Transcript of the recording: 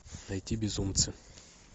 найти безумцы